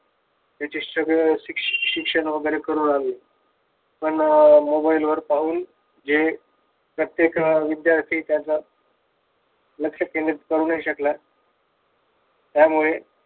शिक्षण वगैरे करू राहिले. पण mobile वर पाहून जे प्रत्येक विध्यार्थी त्याचा लक्ष केंद्रित करू नाही शकला. त्यामुळे